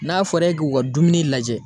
N'a fɔra e k'u ka dumuni lajɛ.